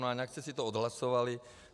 No ale nějak jste si to odhlasovali.